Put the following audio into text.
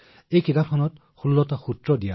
আৰু তাত তেওঁ ১৬ টা সূত্ৰ দিছিল